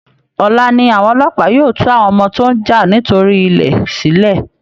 Ọla ni àwọn ọlọ́pàá yóò tú àwọn ọmọ tó ń jà nítorí ilẹ̀ sílẹ̀